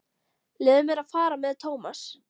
Leyfðu mér að fara með Thomas.